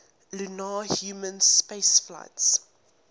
lunar human spaceflights